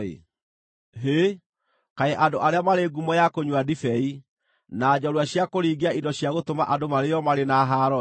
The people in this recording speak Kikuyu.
Hĩ! Kaĩ andũ arĩa marĩ ngumo ya kũnyua ndibei, na njoorua cia kũriingia indo cia gũtũma andũ marĩĩo marĩ na haaro-ĩ!